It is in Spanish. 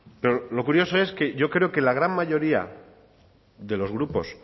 pero lo curioso es que yo creo que la gran mayoría de los grupos